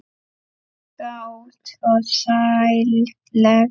Kát og sælleg.